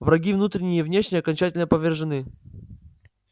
враги внутренние и внешние окончательно повержены